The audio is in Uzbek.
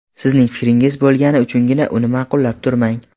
Sizning fikringiz bo‘lgani uchungina uni ma’qullab turmang.